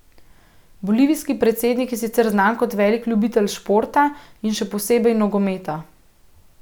Bolivijski predsednik je sicer znan kot velik ljubitelj športa in še posebej nogometa.